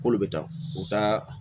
K'olu bɛ taa u ka